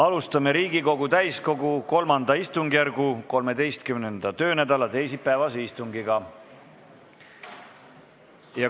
Alustame Riigikogu täiskogu III istungjärgu 13. töönädala teisipäevast istungit.